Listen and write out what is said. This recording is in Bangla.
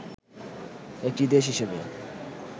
একটি দেশ হিসেবে